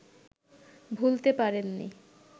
ভুলতে পারেন নি